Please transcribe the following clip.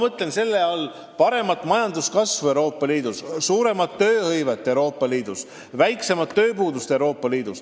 Ma mõtlen selle all paremat majanduskasvu Euroopa Liidus, suuremat tööhõivet Euroopa Liidus, väiksemat tööpuudust Euroopa Liidus.